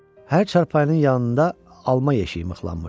Hər çarpayının yanında alma yeşiyi mıxlanmışdı.